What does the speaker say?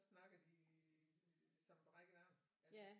Snakker de som en brækket arm altså